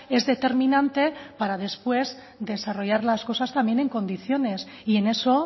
es determinante para después desarrollar las cosas también en condiciones y en eso